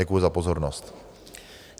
Děkuji za pozornost.